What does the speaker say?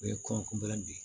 O ye kɔn